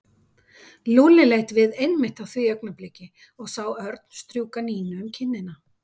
Lúlli leit við einmitt á því augnabliki og sá Örn strjúka Nínu um kinnina.